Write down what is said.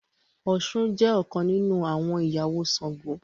Òshun jé ọkàn nínú àwọn ìyàwó Ṣàngó.